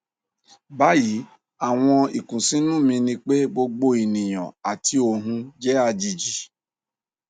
bayi awọn ikunsinu mi ni pe gbogbo eniyan ati ohun jẹ ajeji